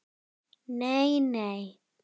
Nei, nei!